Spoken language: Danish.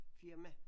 Firma